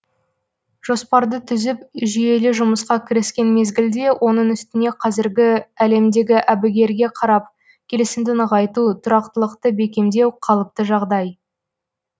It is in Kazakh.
жоспарды түзіп жүйелі жұмысқа кіріскен мезгілде оның үстіне қазіргі әлемдегі әбігерге қарап келісімді нығайту тұрақтылықты бекемдеу қалыпты жағдай